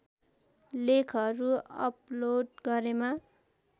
लेखहरू अपलोड गरेमा